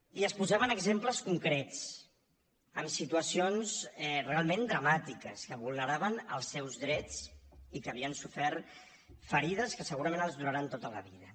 i es posaven exemples concrets amb situacions realment dramàtiques que vulneraven els seus drets i que havien sofert ferides que segurament els duraran tota la vida